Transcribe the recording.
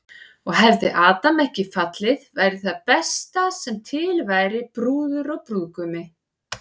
Og hefði Adam ekki fallið væri það besta sem til væri, brúður og brúðgumi.